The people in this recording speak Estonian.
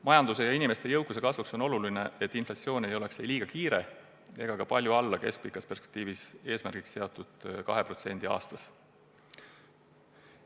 Majanduse ja inimeste jõukuse kasvuks on oluline, et inflatsioon ei oleks liiga kiire ega jääks ka palju alla keskpikas perspektiivis eesmärgiks seatud 2% aastas.